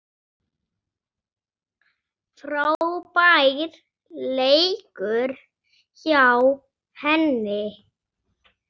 Frábær leikur hjá henni.